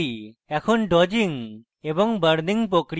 এখন dodging এবং burning প্রক্রিয়া দেখি